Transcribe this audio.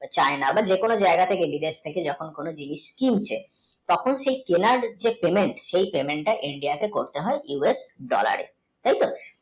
চাই না বা যে কোনো জায়গায় থেকে বা বিদেশ থেকে যখন কোনো জিনিস কিনছে তখন সেই কিনার যে payment সেই payment টা india তে করতে হয় us dollar এ তাই তো